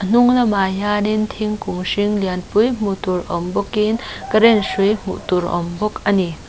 hnung lamah hianin thingkung hring lianpui hmuh tur awm bawkin current hrui hmuh tur a awm bawk a ni.